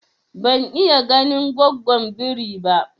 Ban iya ganin gwaggon birin ba